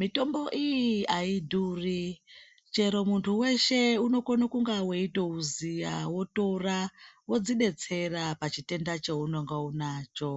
Mitombo iyi aidhuri chero muntu weshe unokone kunga weitouziya wotora wozvidetsera pachitenda chaunenge unacho.